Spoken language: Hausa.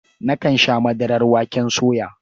Nakan sha madarar waken soya.